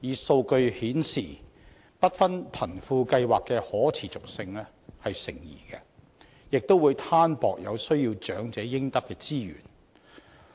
數據顯示不分貧富計劃的可持續性成疑，亦會攤分了有需要長者應得的資源。